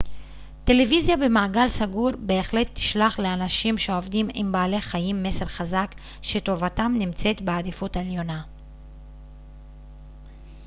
טלוויזיה במעגל סגור בהחלט תשלח לאנשים שעובדים עם בעלי חיים מסר חזק שטובתם נמצאת בעדיפות עליונה